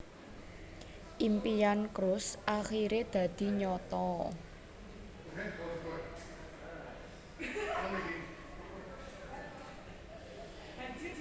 Impian Cruz akiré dadi nyata